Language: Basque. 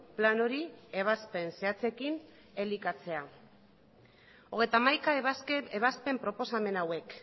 plan hori ebazpen zehatzekin elikatzea hogeita hamaika ebazpen proposamen hauek